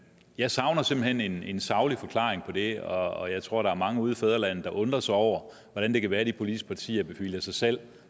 jeg savner simpelt hen en saglig forklaring på det og jeg tror der er mange ude i fædrelandet der undrer sig over hvordan det kan være at de politiske partier bevilger sig selv